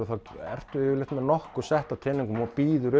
keppniskotru þá ertu yfirleitt með nokkur sett af teningum og býður